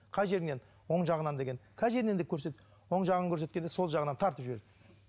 қай жеріңнен оң жағынан деген қай жеріңнен деп көрсет оң жағын көрсеткенде сол жағынан тартып жіберді